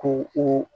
Ko o